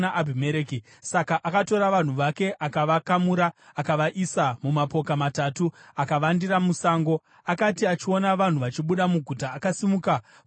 Saka akatora vanhu vake, akavakamura akavaisa mumapoka matatu akavandira musango. Akati achiona vanhu vachibuda muguta, akasimuka kuti avarwise.